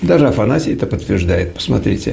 даже афанасий это подтверждает посмотрите